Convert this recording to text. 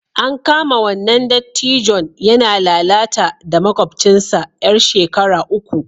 An kama wannan dattijon yana lalata da makwabcinsa 'yar shekara uku